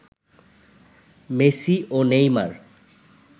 Messi ও Neymar